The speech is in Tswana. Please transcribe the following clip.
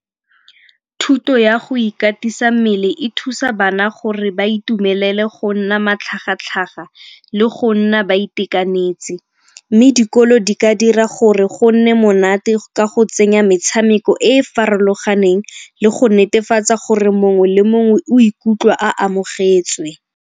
Thuto ya go ikatisa mmele e thusa bana gore ba itumelele go nna matlhagatlhaga le go nna ba itekanetse mme dikolo di ka dira gore go nne monate ka go tsenya metshameko e e farologaneng le go netefatsa gore mongwe le mongwe o ikutlwa a amogetswe.